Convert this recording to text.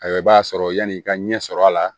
Ayiwa i b'a sɔrɔ yani i ka ɲɛ sɔrɔ a la